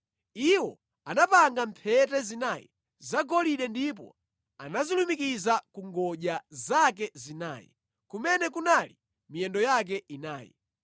Iwo anapanga mphete zinayi zagolide ndipo anazilumikiza ku ngodya zake zinayi, kumene kunali miyendo yake inayi.